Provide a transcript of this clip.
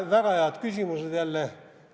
Väga head küsimused jälle.